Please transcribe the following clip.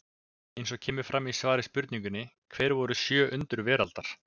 Eins og kemur fram í svari við spurningunni Hver voru sjö undur veraldar?